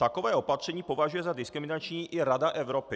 Takové opatření považuje za diskriminační i Rada Evropy.